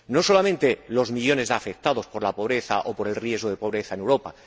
No solamente los millones de afectados por la pobreza o por el riesgo de pobreza en Europa.